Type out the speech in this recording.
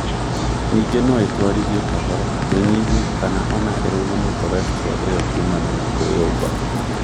Ningĩ noĩtwarithie kahora, ĩnyihie, kana ona ĩrũgamie korestro ĩyo kumana na kwĩũmba